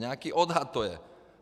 Nějaký odhad to je.